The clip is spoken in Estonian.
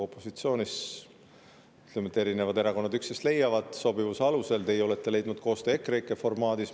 Opositsioonis leiavad üksteist erinevad erakonnad sobivuse alusel, teie olete leidnud koostöö EKREIKE formaadis.